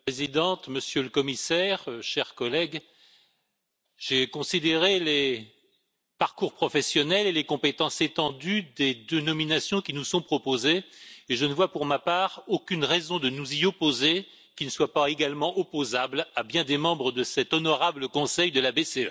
Madame la Présidente, Monsieur le Commissaire, chers collègues, j'ai examiné les parcours professionnels et les compétences étendues des deux candidats qui nous sont proposés et je ne vois, pour ma part, aucune raison de nous y opposer qui ne soit pas également opposable à bien des membres de cet honorable Conseil de la BCE.